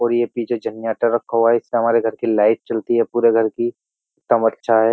और ये पीछे जनरेटर रखा हुआ है इससे हमारे घर की लाइट चलती है पूरे घर की एकदम अच्छा है।